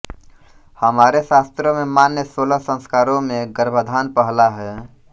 हमारे शास्त्रों में मान्य सोलह संस्कारों में गर्भाधान पहला है